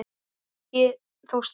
Ekki þó strax.